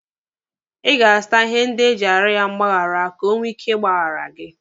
Ị ga-azụta ihe ndị iji arịọ ya mgbaghara ka o nwee ike ịgbaghara gị.